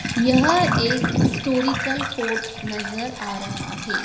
यह एक historical fort नजर आ रहा है।